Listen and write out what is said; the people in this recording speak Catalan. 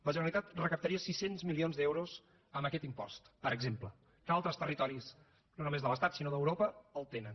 la generalitat recaptaria sis cents milions d’euros amb aquest impost per exemple que altres territoris no només de l’estat sinó d’europa el tenen